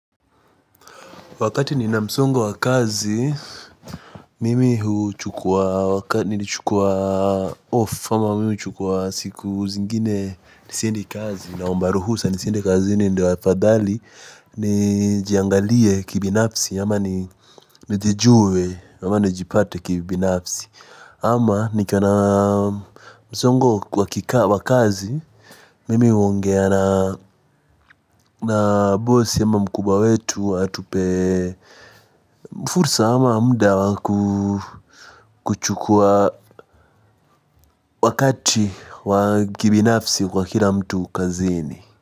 Wakati nina msongo wa kazi, mimi huu chukua wakati nilichukua off, ama mimi huu chukua siku zingine nisiendi kazi, naomba ruhusa nisiendi kazini ndiyo afadhali, nijiangalie kibinafsi, ama nijijue, ama nijipate kibinafsi. Ama nikiona mzongo wakikaa wakazi mimi uongea na boss ama mkubwa wetu atupe mfursa ama mda wakuchukua wakati wakibinafsi kwa kila mtu kazini.